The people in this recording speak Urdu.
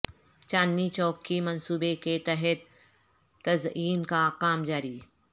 چاندنی چوک کی منصوبے کے تحت تزئین کا کام جاری